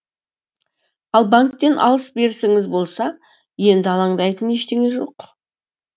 ал банктен алыс берісіңіз болса енді алаңдайтын ештеңе жоқ